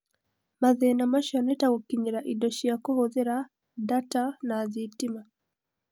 Mathĩna macio nĩ ta gũkinyĩra indo cia kũhũthĩra, ndata, na thitima.